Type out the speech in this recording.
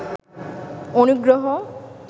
অনুগ্রহ